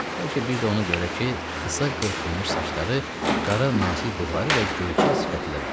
Bəlkə bir də ona görə ki, qısa qırxılmış saçları, qara nazik bığları və göyçək sifəti də vardı.